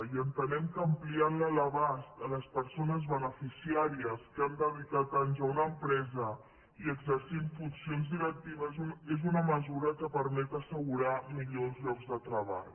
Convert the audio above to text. i entenem que ampliantne l’abast a les persones beneficiàries que han dedicat anys a una empresa i exercint funcions directives és una mesura que permet assegurar millor els llocs de treball